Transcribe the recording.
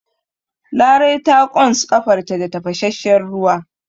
Larai ta ƙons ƙafarta da tafasasshen ruwa.